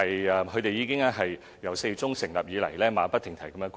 由4月中成立以來，他們馬不停蹄地工作。